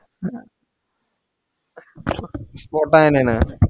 spot ആയിനേന